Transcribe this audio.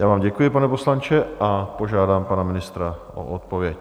Já vám děkuji, pane poslanče, a požádám pana ministra o odpověď.